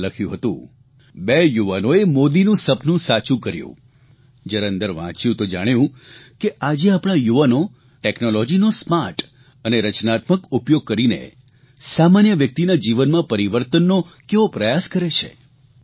તેમાં લખ્યું હતું બે યુવાનોએ મોદીનું સપનું સાચું કર્યું જયારે અંદર વાંચ્યું તો જાણ્યું કે આજે આપણા યુવાનો ટેકનોલોજીનો સ્માર્ટ અને રચનાત્મક ઉપયોગ કરીને સામાન્ય વ્યકિતના જીવનમાં પરિવર્તનનો કેવો પ્રયાસ કરે છે